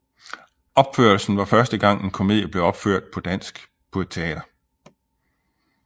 Opførelsen var første gang en komedie blev opført på dansk på et teater